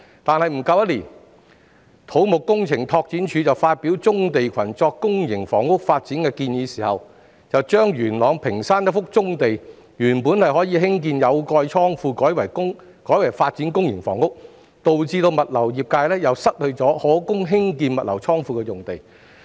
不過，不足一年後，當土木工程拓展署發表棕地群作公營房屋發展的建議時卻將元朗屏山一幅原本可興建有蓋倉庫的棕地改為發展公營房屋，以致物流業界再次失去一幅可供興建物流倉庫的用地。